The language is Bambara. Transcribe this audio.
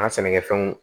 An ka sɛnɛkɛfɛnw